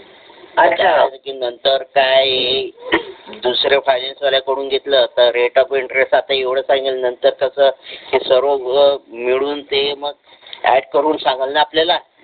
त्यासाठी नंतर काय दुसऱ्या फायनान्स वाल्याकडून घेतलं तर नंतर ती सर्व मिळून ते मग ऍड करून सांगेल ना आपल्याला.